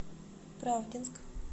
правдинск